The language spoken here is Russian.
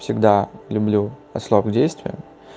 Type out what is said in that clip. всегда люблю а срок действия